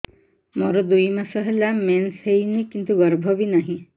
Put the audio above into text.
ମୋର ଦୁଇ ମାସ ହେଲା ମେନ୍ସ ହେଇନି କିନ୍ତୁ ଗର୍ଭ ବି ନାହିଁ